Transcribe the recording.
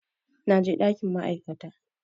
Na je ɗakin ma'aikata